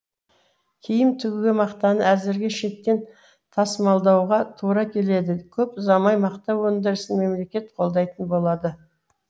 киім тігуге мақтаны әзірге шеттен тасымалдауға тура келеді көп ұзамай мақта өндірісін мемлекет қолдайтын болады